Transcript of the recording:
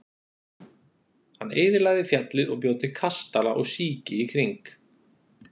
Hann eyðilagði fjallið og bjó til kastala og síki í kring.